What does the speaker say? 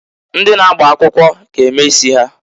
Ndị na-agba akwụkwọ g'eme isi ha..